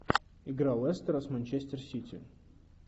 игра лестера с манчестер сити